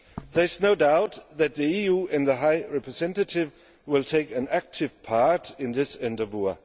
There is no doubt that the EU and the High Representative will take an active part in this endeavour.